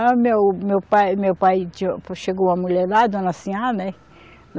Aí meu, meu pai, meu pai, chegou uma mulher lá, dona Sinhá, né?